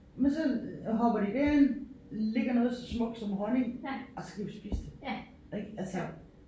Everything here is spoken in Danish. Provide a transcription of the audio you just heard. Men så hopper de derind ligger noget så smukt som honning og så kan vi spise det ik altså